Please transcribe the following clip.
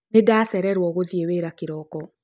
Nĩndacĩrero gũthiĩ wĩra kĩroko